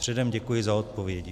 Předem děkuji za odpovědi.